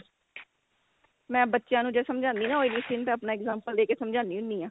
ਮੈਂ ਬੱਚਿਆਂ ਨੂੰ ਜੇ ਸਮਝਾਨੀ ਆ ਨਾ oily skin ਫੇਰ ਆਪਣਾ example ਦੇ ਕੇ ਸਮਝਾਨੀ ਹੁੰਨੀ ਆਂ